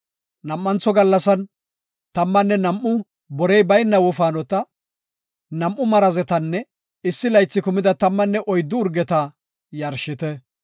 “Nam7antho gallasan tammanne nam7u borey bayna wofaanota, nam7u marazetanne issi laythi kumida tammanne oyddu urgeta yarshite.